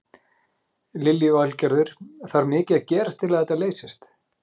Lillý Valgerður: Þarf mikið að gerast til að þetta leysist?